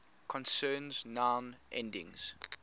concerns noun endings